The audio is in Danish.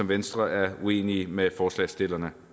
venstre er uenig med forslagsstillerne